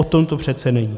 O tom to přece není.